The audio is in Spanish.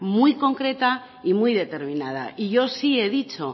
muy concreta y muy determinada y yo sí he dicho